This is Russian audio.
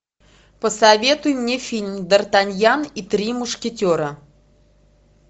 посоветуй мне фильм д артаньян и три мушкетера